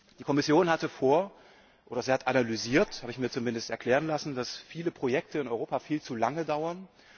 Die Kommission hat analysiert das habe ich mir zumindest erklären lassen dass viele Projekte in Europa viel zu lange dauern.